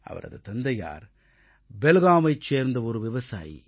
அவரது தந்தையார் பெல்காமைச் சேர்ந்த ஒரு விவசாயி